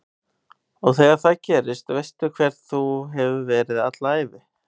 Og þegar það gerist veistu hver þú hefur verið alla ævi